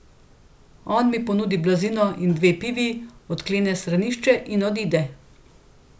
On mi ponudi blazino in dve pivi, odklene stranišče in odide.